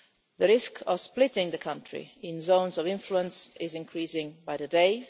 The risk of splitting the country into zones of influence is increasing by the day.